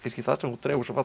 það sem þú dregur svo fallega